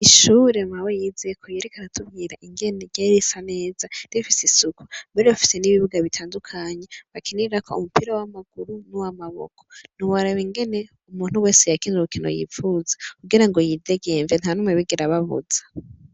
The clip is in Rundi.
Ishure mawe yizeko, yariko aratubwira ingene ryari risa neza, rifise isuku, bari bafise n'ibibuga bitandukanye, bakinirako umupira w'amaguru n'uwamaboko; ntiworaba ingene umuntu wese yakina urukino yipfuza kugirango yidegemvye; nta n'umwe yigera ababuza.